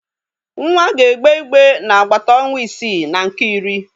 Nwa ga-egbe igbe n'agbata ọnwa isii na nke iri.